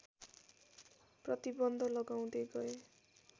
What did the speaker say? प्रतिबन्ध लगाउँदै गए